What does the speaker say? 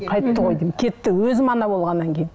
қайтты ғой деймін кетті өзім ана болғаннан кейін